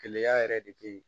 Keleya yɛrɛ de be yen